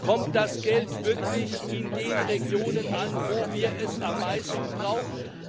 Kommt das Geld wirklich in den Regionen an, wo wir es am meisten brauchen?